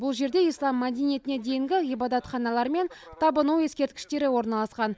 бұл жерде ислам мәдениетіне дейінгі ғибадатханалар мен табыну ескерткіштері орналасқан